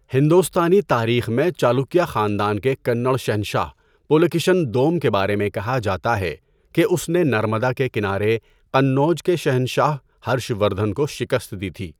ہندوستانی تاریخ میں، چلوکیہ خاندان کے کنڑ شہنشاہ پلاکشین دوم کے بارے میں کہا جاتا ہے کہ اس نے نرمدا کے کنارے قنوج کے شہنشاہ ہرش وردھن کو شکست دی تھی۔